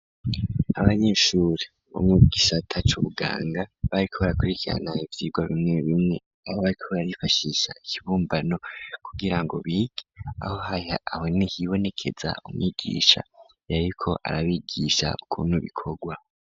Abanyeshure bo mu gisata c'ubuganga bariko barakurikirana ivyigwa bimwe bimwe aho bariko barifashisha ikibumbano kugira ngo bige aho niho hibonekeza umwigisha yariko arabigisha ukuntu bikorwa.